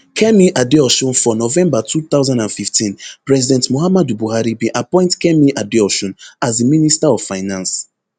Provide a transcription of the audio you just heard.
kemi adeosun for november two thousand and fifteen president muhammadu buhari bin appoint kemi adeosun as di minister of finance